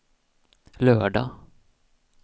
lördag